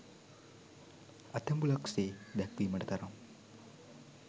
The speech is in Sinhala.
ඇතැඹුලක් සේ දැක්වීමට තරම්